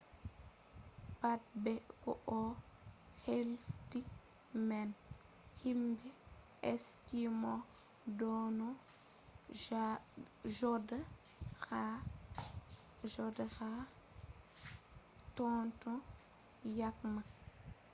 pat be ko o hefti man himɓe eskimo ɗonno joɗa ha totton yake man